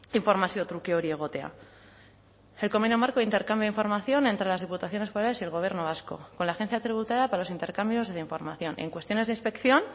informazio truke hori egotea el convenio marco de intercambio de información entre las diputaciones forales y el gobierno vasco con la agencia tributaria para los intercambios de información en cuestiones de inspección